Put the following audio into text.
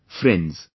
Friends,